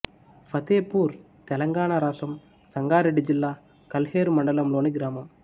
ఫతేపూర్ తెలంగాణ రాష్ట్రం సంగారెడ్డి జిల్లా కల్హేరు మండలంలోని గ్రామం